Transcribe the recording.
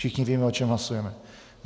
Všichni víme, o čem hlasujeme.